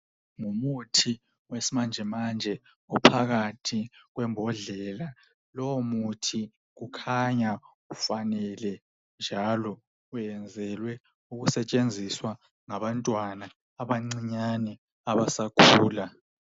Ngumuthi wesimanje manje ophakathi kwembodlela, lowo muthi kukhanya ufanele njalo wenzelwe ukusetshenziswa ngabantwana abancinyane abasakhula.